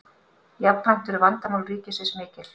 jafnframt eru vandamál ríkisins mikil